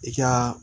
I ka